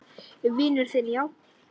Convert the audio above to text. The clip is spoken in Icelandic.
Vinur þinn, já?